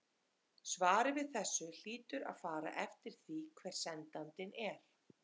Svarið við þessu hlýtur að fara eftir því hver svarandinn er.